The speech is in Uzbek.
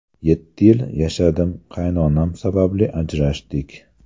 Yetti yil yashadim, qaynonam sababli ajrashdik.